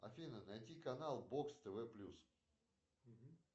афина найти канал бокс тв плюс